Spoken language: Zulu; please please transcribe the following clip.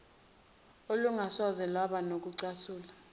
olungasoze lwaba nokucasula